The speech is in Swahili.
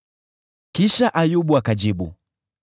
Kisha Ayubu akajibu: